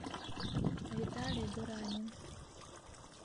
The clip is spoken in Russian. виталий дуранин